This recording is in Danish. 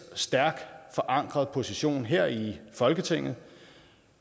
stærkt forankret position her i folketinget